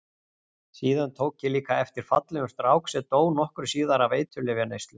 Síðan tók ég líka eftir fallegum strák sem dó nokkru síðar af eiturlyfjaneyslu.